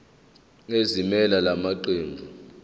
ezimelele la maqembu